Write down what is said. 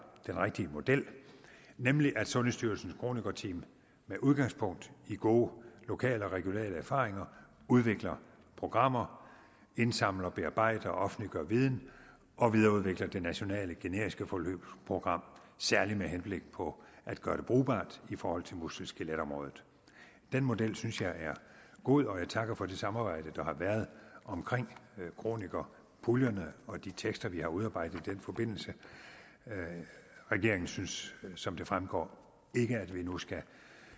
den rigtige model nemlig at sundhedsstyrelsens kronikerteam med udgangspunkt i gode lokale og regionale erfaringer udvikler programmer indsamler bearbejder og offentliggør viden og videreudvikler det nationale generiske forløbsprogram særlig med henblik på at gøre det brugbart i forhold til muskel skelet området den model synes jeg er god og jeg takker for det samarbejde der har været omkring kronikerpuljerne og de tekster vi har udarbejdet i den forbindelse regeringen synes som det fremgår ikke at vi nu skal